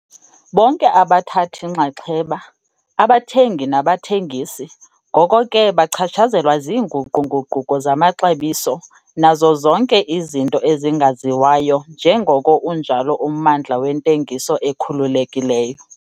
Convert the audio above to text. Bonke abathabathi-nxaxheba, abathengi nabathengisi, ngoko ke bachatshazelwa ziinguqu-nguquko zamaxabiso nazo zonke izinto ezingaziwayo njengoko unjalo ummandla wentengiso ekhululekileyo.